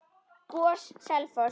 GOS- Selfoss